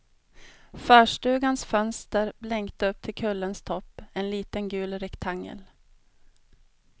Förstugans fönster blänkte upp till kullens topp, en liten gul rektangel.